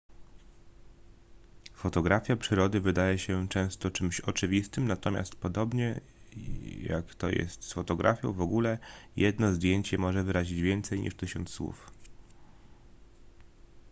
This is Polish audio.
fotografia przyrody wydaje się często czymś oczywistym natomiast podobnie jak to jest z fotografią w ogóle jedno zdjęcie może wyrazić więcej niż tysiąc słów